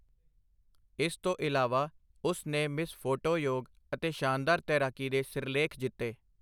ਇਸ ਤੋਂ ਇਲਾਵਾ, ਉਸ ਨੇ ਮਿਸ ਫੋਟੋ ਯੋਗ ਅਤੇ ਸ਼ਾਨਦਾਰ ਤੈਰਾਕੀ ਦੇ ਸਿਰਲੇਖ ਜਿੱਤੇ।